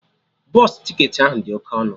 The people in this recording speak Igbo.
Bọsụ ticketị ahụ dị oke ọnụ